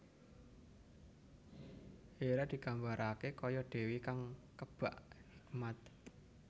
Hera digambarake kaya dewi kang kebak hikmat